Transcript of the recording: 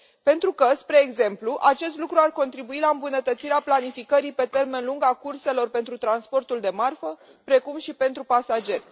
Pentru că, spre exemplu, acest lucru ar contribui la îmbunătățirea planificării pe termen lung a curselor pentru transportul de marfă, precum și pentru pasageri.